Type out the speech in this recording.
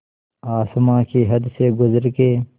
आसमां की हद से गुज़र के